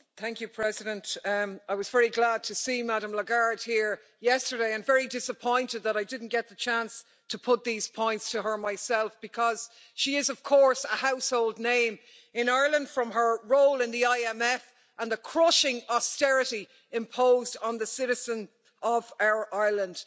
Madam President, I was very glad to see Madame Lagarde here yesterday and very disappointed that I didn't get the chance to put these points to her myself, because she is, of course, a household name in Ireland from her role in the IMF and the crushing austerity imposed on the citizens of Ireland.